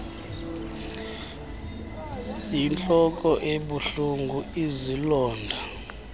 yintloko ebuhlungu izilonda